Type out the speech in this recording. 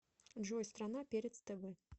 джой страна перец тв